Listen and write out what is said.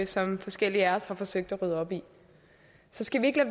som forskellige af os har forsøgt at rydde op i så skal vi ikke